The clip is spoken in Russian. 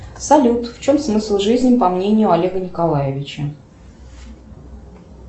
салют в чем смысл жизни по мнению олега николаевича